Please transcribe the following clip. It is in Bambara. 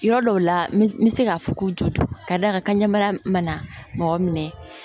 Yɔrɔ dɔw la n bɛ se k'a fɔ k'u jo to ka d'a kan ka ɲɛ bara mana mɔgɔ minɛ